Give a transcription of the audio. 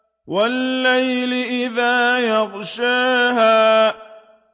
وَاللَّيْلِ إِذَا يَغْشَاهَا